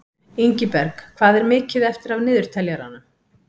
Ingiberg, hvað er mikið eftir af niðurteljaranum?